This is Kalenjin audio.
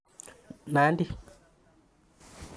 Nandi